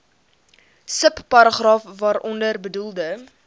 subparagraaf waaronder bedoelde